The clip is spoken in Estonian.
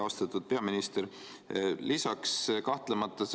Austatud peaminister!